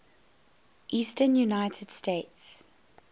eastern united states